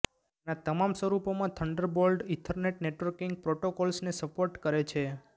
તેના તમામ સ્વરૂપોમાં થન્ડરબોલ્ટ ઇથરનેટ નેટવર્કિંગ પ્રોટોકોલ્સને સપોર્ટ કરે છે